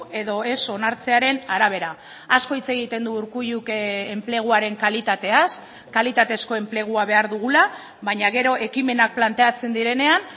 edo ez onartzearen arabera asko hitz egiten du urkulluk enpleguaren kalitateaz kalitatezko enplegua behar dugula baina gero ekimenak planteatzen direnean